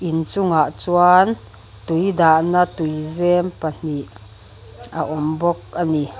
inchungah chuan tui dahna tuizem pahnih a awm bawk a ni.